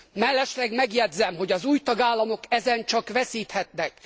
Mellesleg megjegyzem, hogy az új tagállamok ezen csak veszíthetnek.